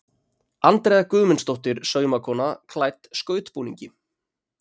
Andrea Guðmundsdóttir saumakona klædd skautbúningi.